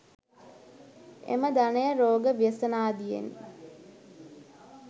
එම ධනය රෝග ව්‍යසනාදියෙන්